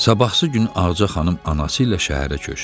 Sabahsı günü Ağca xanım anası ilə şəhərə köçdü.